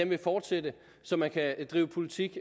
vil fortsætte så man kan drive politik